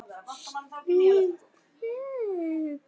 Stutt þögn.